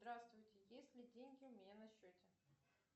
здравствуйте есть ли деньги у меня на счете